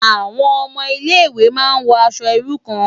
Awòn òmò Ilé Iwé má n wò aṣò irú kàn